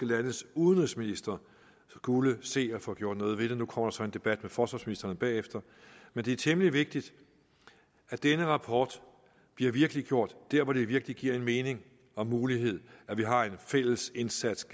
landes udenrigsministre skulle se at få gjort noget ved det nu kommer der så en debat med forsvarsministeren bagefter men det er temmelig vigtigt at denne rapport bliver virkeliggjort der hvor det virkelig giver mening og mulighed at vi har en fælles indsats